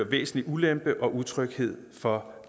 væsentlig ulempe og utryghed for